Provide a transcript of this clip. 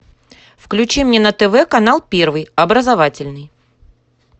включи мне на тв канал первый образовательный